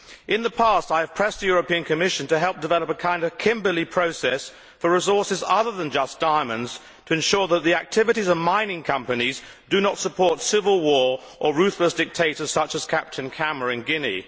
In the past, I have pressed the European Commission to help develop a kind of Kimberley Process for resources other than just diamonds to ensure that the activities of mining companies do not support civil war or ruthless dictators such as Captain Camara in Guinea.